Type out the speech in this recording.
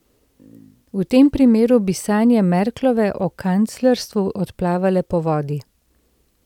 V tem primeru bi sanje Merklove o kanclerstvu odplavale po vodi.